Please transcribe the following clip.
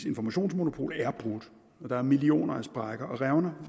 informationsmonopol er brudt der er millioner af sprækker og revner